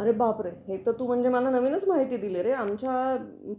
अरे बाप रे, हे तर तू म्हणजे मला नवीनच माहिती दिली रे, आमच्या